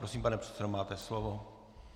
Prosím, pane předsedo, máte slovo.